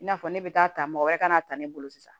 I n'a fɔ ne bɛ taa ta mɔgɔ wɛrɛ ka na ta ne bolo sisan